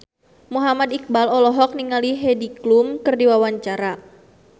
Muhammad Iqbal olohok ningali Heidi Klum keur diwawancara